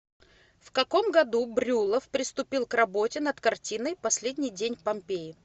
в каком году брюллов приступил к работе над картиной последний день помпеи